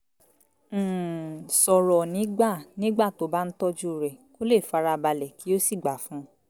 um sọ̀rọ̀ nígbà nígbà tó bá ń tọ́jú rẹ̀ kó lè farabalẹ̀ kí ó sì gbà fún